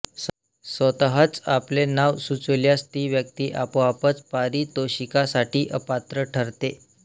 स्वतःच आपले नाव सुचविल्यास ती व्यक्ती आपोआपच पारितोषिकासाठी अपात्र ठरते